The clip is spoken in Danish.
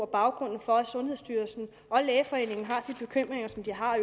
baggrunden for at sundhedsstyrelsen og lægeforeningen har de bekymringer som de har